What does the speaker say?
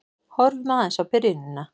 Horfum aðeins á byrjunina.